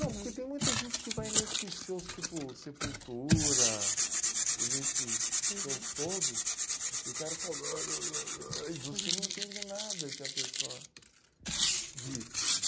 Não, porque tem muita gente que vai nesses shows, tipo Sepultura, e nesses shows todos, e o cara só... E você não entende nada que a pessoa diz.